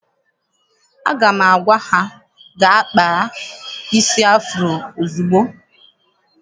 Aga m agwa ha gaa kpaa isi afuro ozugbo!